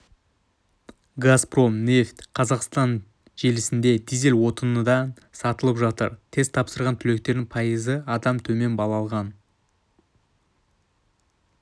газпром нефть-казахстан желісінде дизель отыны дан сатылып жатыр тест тапсырған түлектердің пайызы адам төмен балл алған